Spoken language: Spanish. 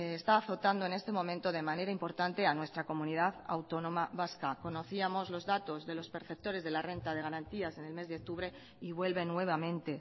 está azotando en este momento de manera importante a nuestra comunidad autónoma vasca conocíamos los datos de los perceptores de la renta de garantías en el mes de octubre y vuelven nuevamente